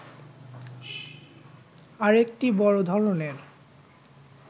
আরেকটি বড় ধরনের